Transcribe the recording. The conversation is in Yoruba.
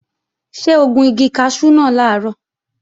Ṣé o gun igi kaṣú náà làárọ̀?